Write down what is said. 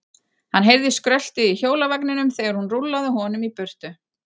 Hann heyrði skröltið í hjólavagninum þegar hún rúllaði honum í burtu.